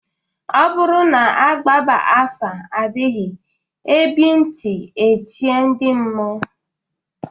Ọ bụrụ na-agbaba afa ebighị ebị ntị eche ndị mmụọ.